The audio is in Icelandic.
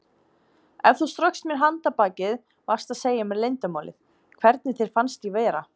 Ef þú straukst mér handarbakið varstu að segja mér leyndarmálið: hvernig þér fannst ég vera.